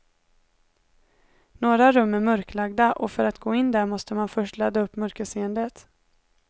Några rum är mörklagda och för att gå in där måste man först ladda upp mörkerseendet.